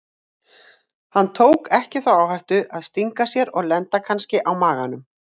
Hann tók ekki þá áhættu að stinga sér og lenda kannski á maganum.